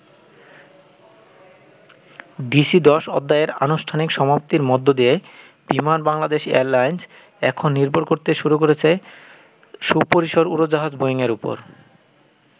DC-10 অধ্যায়ের আনুষ্ঠানিক সমাপ্তির মধ্য দিয়ে বিমান বাংলাদেশ এয়ারলাইন্স এখন নির্ভর করতে শুরু করেছে সুপরিসর উড়োজাহাজ বোয়িং এর উপর।